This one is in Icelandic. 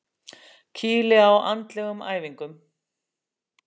Kýli á andlegum æfingum.